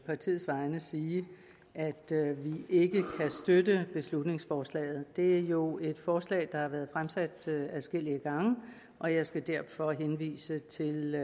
partiets vegne sige at vi ikke kan støtte beslutningsforslaget det er jo et forslag der har været fremsat adskillige gange og jeg skal derfor henvise til